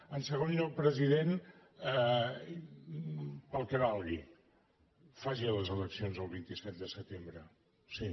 en segon lloc president pel que valgui faci les eleccions el vint set de setembre sí